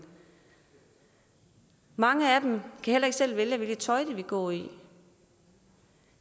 mange af dem kan heller ikke selv vælge hvad for noget tøj de vil gå i